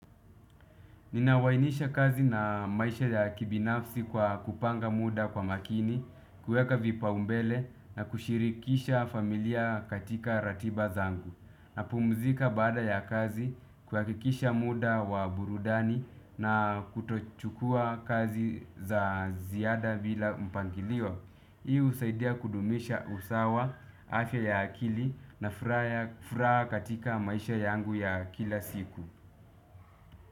Ninawainisha kazi na maisha ya kibinafsi kwa kupanga muda kwa makini, kueka vipa umbele na kushirikisha familia katika ratiba zangu. Na pumzika baada ya kazi kuhakikisha muda wa burudani na kutochukua kazi za ziada bila mpangilio. Hii husaidia kudumisha usawa, afya ya akili na furaha katika maisha yangu ya kila siku.